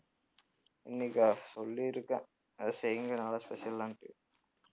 இன்னைக்கா சொல்லிருக்கேன் ஏதாவது செய்யுங்க நல்லா special ஆன்னுட்டு